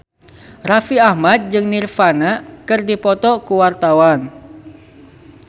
Raffi Ahmad jeung Nirvana keur dipoto ku wartawan